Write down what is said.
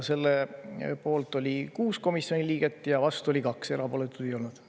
Selle poolt oli 6 komisjoni liiget ja vastu oli 2, erapooletuid ei olnud.